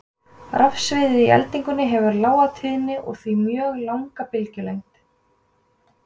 Rafsviðið í eldingunni hefur lága tíðni og því mjög langa bylgjulengd.